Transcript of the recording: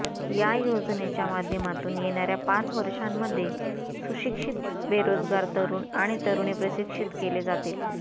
या योजनेच्या माध्यमातून येणाऱ्या पाच वर्षांमध्ये सुशिक्षित बेरोजगार तरुण आणि तरुणी प्रशिक्षित केले जातील